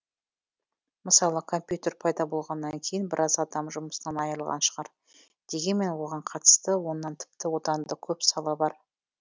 мысалы компьютер пайда болғаннан кейін біраз адам жұмысынан айырылған шығар дегенмен оған қатысты оннан тіпті одан да көп сала бар